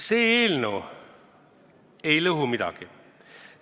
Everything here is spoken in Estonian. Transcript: See eelnõu ei lõhu midagi.